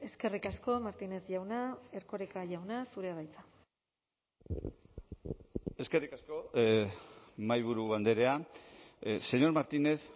eskerrik asko martínez jauna erkoreka jauna zurea da hitza eskerrik asko mahaiburu andrea señor martínez